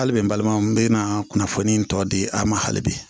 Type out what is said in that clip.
Hali bi n balimaw n bɛna kunnafoni tɔ di a ma hali bi